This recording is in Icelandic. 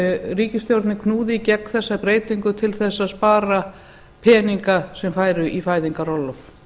ríkisstjórnin knúði í gegn þessa breytingu til þess að spara peninga sem færu í fæðingarorlof